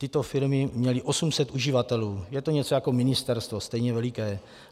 Tyto firmy měly 800 uživatelů, je to něco jako ministerstvo, stejně veliké.